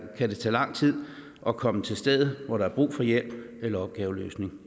kan det tage lang tid at komme til stedet hvor der er brug for hjælp eller opgaveløsning